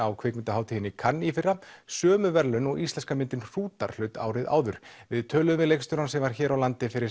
á kvikmyndahátíðinni í Cannes í fyrra sömu verðlaun og íslenska myndin hrútar hlaut árið áður við töluðum við leikstjórann sem var hér á landi fyrir